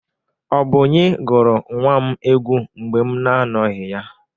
Ọ bụ onye gụrụ nwa m egwu mgbe m na-anọghị ya?